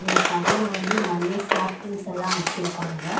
இந்த கடையில வந்து நறைய சப்ளிங்ஸ்ஸெல்லா வெச்சிருக்காங்க.